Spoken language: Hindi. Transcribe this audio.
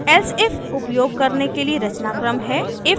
elsif उपयोग करने के लिए रचनाक्रम है: